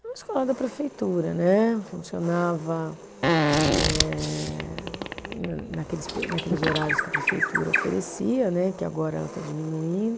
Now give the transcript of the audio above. Era uma escola da prefeitura né, funcionava eh na naqueles pe, naqueles horários que a prefeitura oferecia né, que agora ela está diminuindo.